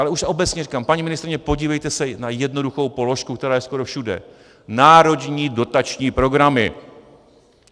Ale už obecně říkám, paní ministryně, podívejte se na jednoduchou položku, která je skoro všude: národní dotační programy.